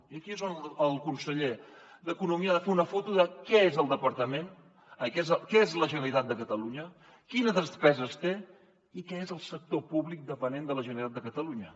i aquí és on el conseller d’economia ha de fer una foto de què és el departament què és la generalitat de catalunya quines despeses té i què és el sector públic dependent de la generalitat de catalunya